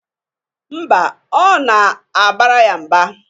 Mba, ọ na-abara ya mba.